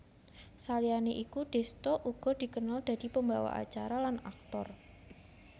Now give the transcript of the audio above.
Saliyané iku Desta uga dikenal dadi pembawa acara lan aktor